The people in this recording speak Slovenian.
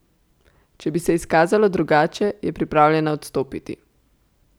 Če bi se izkazalo drugače, je pripravljena odstopiti.